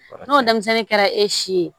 N'o denmisɛnnin kɛra e si ye